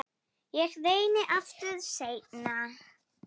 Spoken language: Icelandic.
Ég reyni aftur seinna